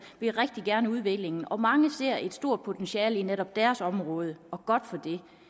vil rigtig gerne udviklingen og mange ser et stort potentiale i netop deres område og godt for